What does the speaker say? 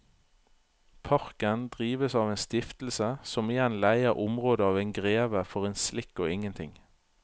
Parken drives av en stiftelse som igjen leier området av en greve for en slikk og ingenting.